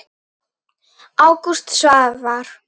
Ágúst Svavar.